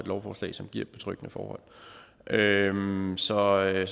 lovforslag som giver betryggende forhold så i